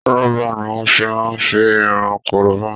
Rọ́bà ni wọn fi máa ń fi irun korobá